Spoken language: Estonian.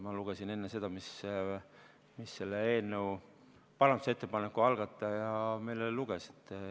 Ma lugesin enne ette selle, mida selle parandusettepaneku algataja meile ette luges.